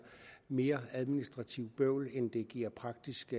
mere administrativt bøvl end det giver praktisk